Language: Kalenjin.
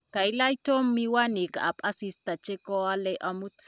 kailach Tom miwanikab asista che koalei amut